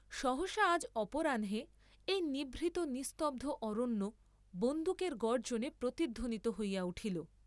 সহসা আজ অপরাহ্নে এই নিভৃত নিস্তব্ধ অরণ্য বন্দুকের গর্জ্জনে প্রতিধ্বনিত হইয়া উঠিল।